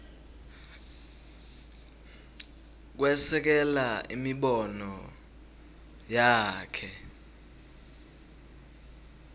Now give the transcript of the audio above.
kwesekela imibono yakhe